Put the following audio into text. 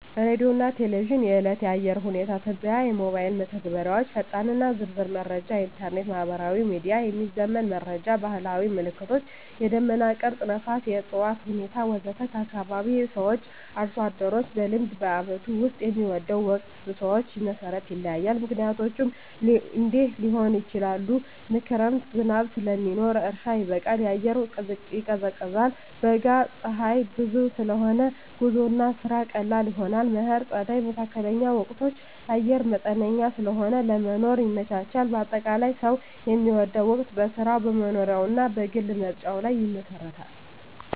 ሬዲዮና ቴሌቪዥን – የዕለት የአየር ሁኔታ ትንበያ ሞባይል መተግበሪያዎች ፈጣንና ዝርዝር መረጃ ኢንተርኔት/ማህበራዊ ሚዲያ – የሚዘመን መረጃ ባህላዊ ምልክቶች – የደመና ቅርጽ፣ ነፋስ፣ የእፅዋት ሁኔታ ወዘተ ከአካባቢ ሰዎች/አርሶ አደሮች – በልምድ በዓመቱ ውስጥ የሚወደው ወቅት ሰዎች መሠረት ይለያያል፣ ምክንያቶቹም እንዲህ ሊሆኑ ይችላሉ፦ ክረምት – ዝናብ ስለሚኖር እርሻ ይበቃል፣ አየር ይቀዝቃዛል። በጋ – ፀሐይ ብዙ ስለሆነ ጉዞና ስራ ቀላል ይሆናል። መከር/ጸደይ (መካከለኛ ወቅቶች) – አየር መጠነኛ ስለሆነ ለመኖር ይመቻቻል። አጠቃላይ፣ ሰው የሚወደው ወቅት በሥራው፣ በመኖሪያው እና በግል ምርጫው ላይ ይመሰረታል።